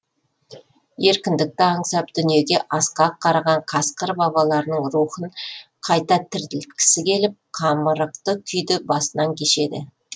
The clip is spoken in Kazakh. еркіндікті аңсап дүниеге асқақ қараған қасқыр бабаларының рухын қайта тірілткісі келіп қамырықты күйді басынан кешеді